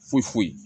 Foyi foyi